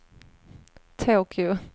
Tokyo